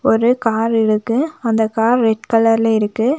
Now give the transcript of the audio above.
ஒரு கார் இருக்கு அந்த கார் ரெட் கலர்ல இருக்கு.